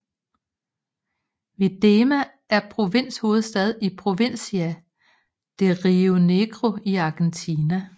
Viedma er provinshovedstad i Provincia de Río Negro i Argentina